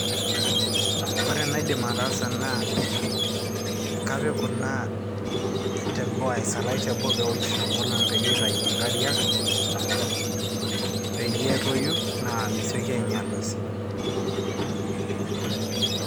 ore enaidim ataasa naa kapik kuna teboo, aisalaash teboo peewosh enkolong peyie itai inkariak peyie etoyu naa mesioki ainyiala sii[PPAUSE].